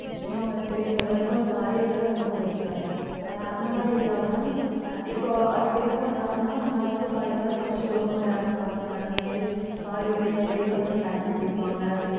சின்னவங்க வந்து பெரியவங்க முதற்கொண்டு காய்கறிகளைதான் ரொம்ப வெறுக்கிறாங்க. ஆனா அந்த மாதிரி இல்லாம அஹ் இப்போ அதுக்கு என்ன பண்றாங்கன்னா முன்னால இருந்து காயெல்லாம் சமைச்சு குடுப்பாங்க யாரும் சாப்பிட மாட்டாங்க. அதே மாதிரி காய்கறிய வேகவச்சு தண்ணி குடிப்பாங்க.